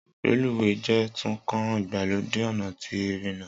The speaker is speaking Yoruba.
Reluwe jẹ tun kan igbalode ọna ti irina